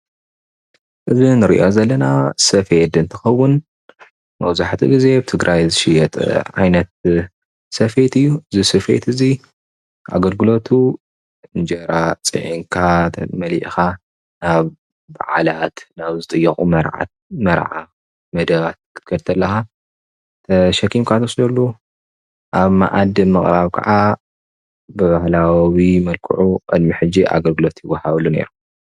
እዚ ንርኦ ዘለና ሴፍት እንትኮውን መብዛሕትኡ ግዜ ትግራይ ዝሽየጥ ዓይነት ሴፍየት እዩ እዚ ሴፈየት እዚ ኣገልግሎት እንጀራ ፅዕንካ ጡጥ መሊእካ ናብ ባዓለት ናብ ዝጥየቁ መርዓ መደባት ክትከድ ተለካ ተሸኪምካ እንወስደሉ ኣብ ማኣድ ምቅራብ ከዓ ብባህላዊ መልክዑ ቅድም ሕጅ ኣገልግሎት ይውሀበሉ ነይሩ።